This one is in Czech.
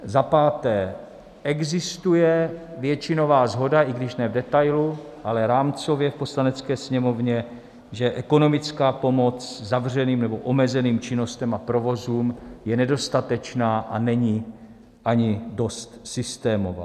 Za páté existuje většinová shoda, i když ne v detailu, ale rámcově v Poslanecké sněmovně, že ekonomická pomoc zavřeným nebo omezeným činnostem a provozům je nedostatečná a není ani dost systémová.